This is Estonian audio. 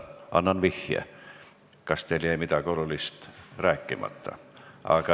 Annan vihje: kas teil jäi midagi olulist rääkimata?